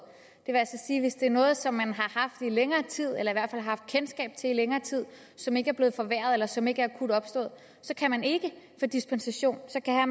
hvis det er noget som man har haft i længere tid eller i hvert fald har haft kendskab til i længere tid som ikke er blevet forværret eller som ikke er akut opstået så kan man ikke få dispensation